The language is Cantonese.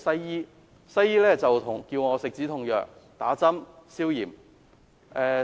醫生要我服食止痛藥、打消炎針。